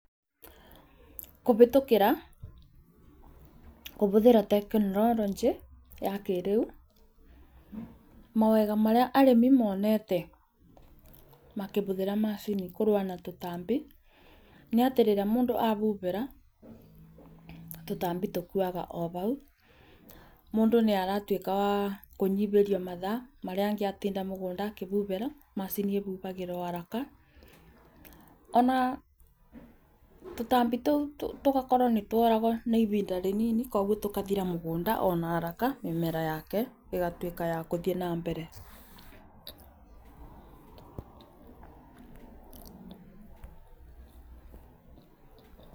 Kũhĩtũkĩra kũhũthĩra tekinoronjĩ, mawega marĩa arĩmi monete makĩhũthĩra macini kũrũa na tũtambi, nĩ atĩ rĩrĩa mũndũ ahũthĩra, tũtambi tũkuaga o hau, mũndũ nĩaratuĩka wa kũnyihĩrio mathaa marĩa angĩatinda mũgũnda akĩhuhĩra, macini ĩhuhagĩra haraka ona tũtambi tũu tũgakorwo nĩ tuoragwo na ihinda rĩnini. Kwoguo tũgathira mũgũnda ona haraka mĩmera ĩgatuĩka ya gũthiĩ na mbere.